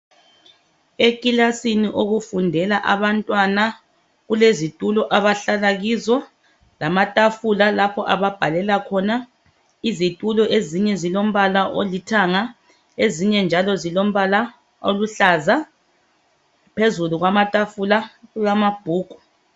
Ekilasini okufundela abantwana kulezitulo abahlala kizo lamatafula lapho ababhalela khona izitulo ezinye zilombala olithanga ezinye njalo zilombala oluhlaza phezulu kwamatafula kulamabhuku.